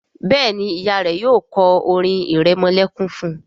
Béèni Ìyá rẹ yóò ko orin iremolekun fún.